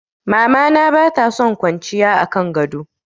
Mama na bata son kwanciya a kan gado.